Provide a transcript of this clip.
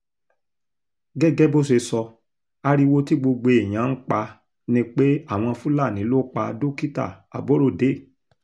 gẹ́gẹ́ bó ṣe sọ ariwo tí gbogbo èèyàn ń pa ni pé àwọn fúlàní ló pa dókítà aborode